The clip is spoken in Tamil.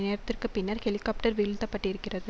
நேரத்திற்கு பின்னர் ஹெலிகாப்டர் வீழ்த்தப்பட்டிருக்கிறது